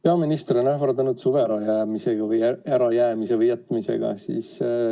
Peaminister on ähvardanud suve ärajäämise või -jätmisega.